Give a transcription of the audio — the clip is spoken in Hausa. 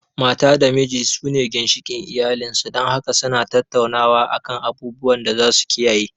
Mata da miji su ne ginshikin iyalin su, dan haka su na tattaunawa a kan abubuwan da za su kiyaye